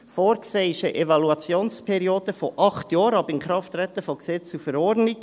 Vorgesehen ist eine Evaluationsperiode von acht Jahren ab Inkrafttreten von Gesetz und Verordnung.